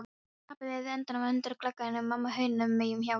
Pabbi við endann undir glugganum, mamma hinum megin hjá vaskinum.